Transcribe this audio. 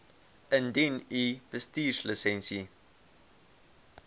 indien u bestuurslisensie